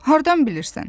Hardan bilirsən?